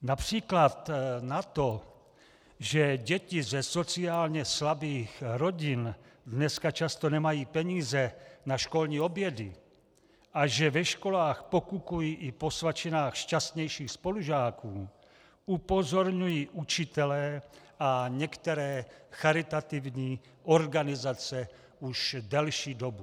Například na to, že děti ze sociálně slabých rodin dneska často nemají peníze na školní obědy a že ve školách pokukují i po svačinách šťastnějších spolužáků, upozorňují učitelé a některé charitativní organizace už delší dobu.